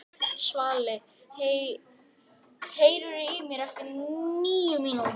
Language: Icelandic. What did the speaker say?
Svali, heyrðu í mér eftir níu mínútur.